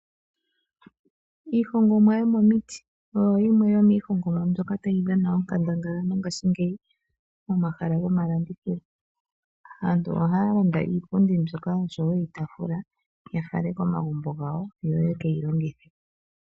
Iihongomwa yomomiiti oyo yimwe yomiihongomwa mbyoka tayi dhana onkandanga mongashingeyi pomahala gomalandithilo. Aantu ohaya landa iipundi mbyoka noshowo iitafula ya ale komagumbo gawo yoye kwyi longithe.